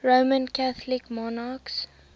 roman catholic monarchs